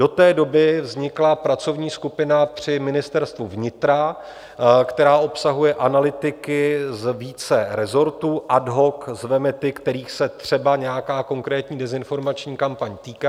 Do té doby vznikla pracovní skupina při Ministerstvu vnitra, která obsahuje analytiky z více rezortů, ad hoc zveme ty, kterých se třeba nějaká konkrétní dezinformační kampaň týká.